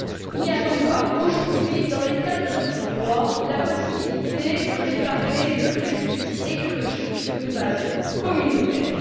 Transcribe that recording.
Il n'y a donc pas aujourd'hui, dans l'état de notre droit la possibilité de réparer le préjudice écologique sur une base communautaire.